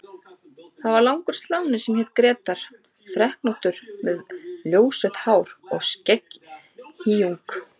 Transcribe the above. Það var langur sláni sem hét Grétar, freknóttur með ljósrautt hár og skegghýjung.